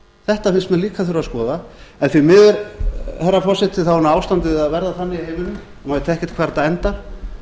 þetta finnst mér líka þurfa að skoða því miður herra forseti er ástandið að verða þannig í heiminum að maður veit ekkert hvar þetta endar